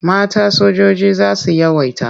Mata sojoji za su yawaita.